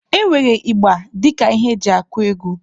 E nwere ịgba dịka ihe eji akụ egwu.